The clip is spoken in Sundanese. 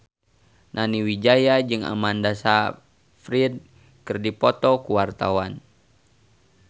Nani Wijaya jeung Amanda Sayfried keur dipoto ku wartawan